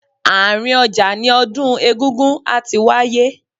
Àárín ọjà ni odun egúngún á ti wáyé.